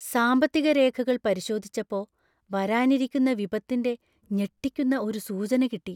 സാമ്പത്തിക രേഖകൾ പരിശോധിച്ചപ്പോ , വരാനിരിക്കുന്ന വിപത്തിന്‍റെ ഞെട്ടിക്കുന്ന ഒരു സൂചന കിട്ടി.